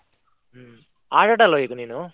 ಹ್ಮ್, ಆಟ ಆಡಲ್ವ ಈಗ ನೀನು?